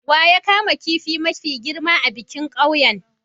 Wa ya kama kifin mafi girma a bikin ƙauyen?